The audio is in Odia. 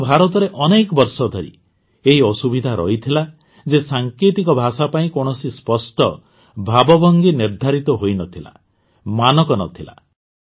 କିନ୍ତୁ ଭାରତରେ ଅନେକ ବର୍ଷ ଧରି ଏହି ଅସୁବିଧା ରହିଥିଲା ଯେ ସାଙ୍କେତିକ ଭାଷା ପାଇଁ କୌଣସି ସ୍ପଷ୍ଟ ଭାବଭଙ୍ଗୀ ନିର୍ଦ୍ଧାରିତ ହୋଇ ନ ଥିଲା ମାନକ ଷ୍ଟାଣ୍ଡାର୍ଡ଼ ନ ଥିଲା